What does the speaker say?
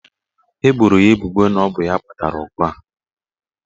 Eboro ya ebubo na ọ bụ ya kpatara ọgụ a.